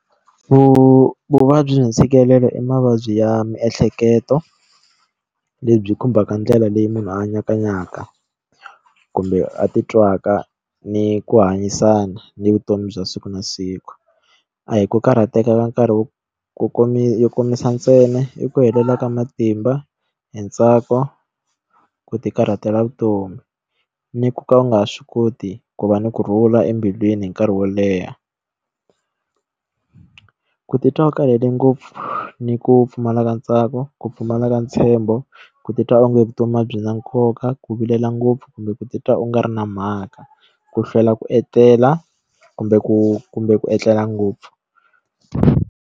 Vu vuvabyi hi ntshikelelo i mavabyi ya miehleketo lebyi khumbaka ndlela leyi munhu a nyakanyaka kumbe a ti twaka ni ku hanyisana ni vutomi bya siku na siku a hi ku karhateka ka nkarhi wo komisa ntsena i ku helela ka matimba hi ntsako ku tikarhatela vutomi ni ku ka u nga ha swi koti ku va ni ku rhula embilwini hi nkarhi wo leha ku titwa u karhele ngopfu ni ku pfumala ka ntsako ku pfumala ka ntshembo ku titwa onge vutomi a byi na nkoka ku vilela ngopfu kumbe ku titwa u nga ri na mhaka ku hlwela ku etlela kumbe ku kumbe ku etlela ngopfu.